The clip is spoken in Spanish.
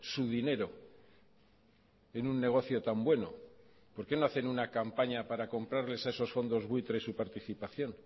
su dinero en un negocio tan bueno por qué no hacen una campaña para comprarles a esos fondos buitres su participación